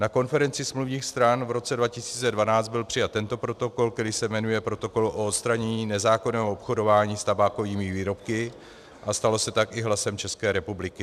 Na konferenci smluvních stran v roce 2012 byl přijat tento protokol, který se jmenuje Protokol o odstranění nezákonného obchodování s tabákovými výrobky, a stalo se tak i hlasem České republiky.